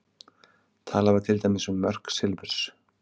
Talað var til dæmis um mörk silfurs.